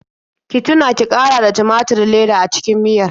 Ki tuna ki ƙara da tumaturin leda a cikin miyar.